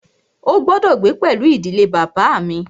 Ó gbọ́dọ̀ gbé pẹlú ìdílé bàbá à mi!